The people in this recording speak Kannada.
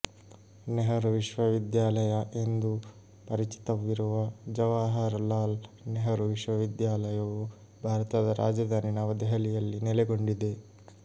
ನೆಹರು ವಿಶ್ವವಿದ್ಯಾಲಯ ಎಂದೂ ಪರಿಚಿತವಿರುವ ಜವಾಹರಲಾಲ್ ನೆಹರು ವಿಶ್ವವಿದ್ಯಾಲಯವು ಭಾರತದ ರಾಜಧಾನಿ ನವ ದೆಹಲಿಯಲ್ಲಿ ನೆಲೆಗೊಂಡಿದೆ